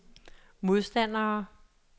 modstandere